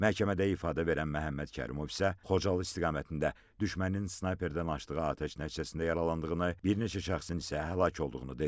Məhkəmədə ifadə verən Məhəmməd Kərimov isə Xocalı istiqamətində düşmənin snayperdən açdığı atəş nəticəsində yaralandığını, bir neçə şəxsin isə həlak olduğunu dedi.